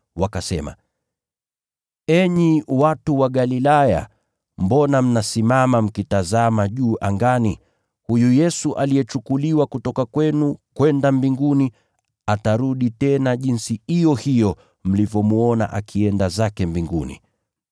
wakasema, “Enyi watu wa Galilaya, mbona mnasimama mkitazama juu angani? Huyu Yesu aliyechukuliwa kutoka kwenu kwenda Mbinguni, atarudi tena jinsi iyo hiyo mlivyomwona akienda zake Mbinguni.”